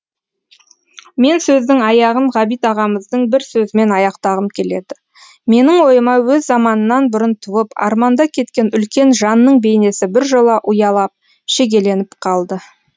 мен сөздің аяғын ғабит ағамыздың бір сөзімен аяқтағым келеді менің ойыма өз заманынан бұрын туып арманда кеткен үлкен жанның бейнесі біржола ұялап шегеленіп қалды